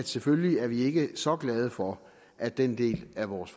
selvfølgelig ikke så glade for at den del af vores